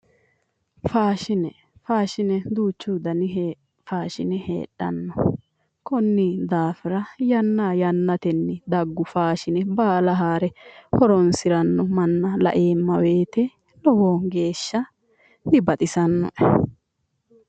Faashine, faashine duuchu danni faashine heedhano konni daafira yanna yannateni faashine baalla haare horonsirano manna laeemma woyte lowo geeshsha dibaxisanoe